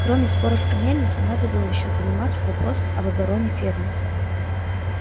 кроме споров о мельнице надо было ещё заниматься вопросом об обороне фермы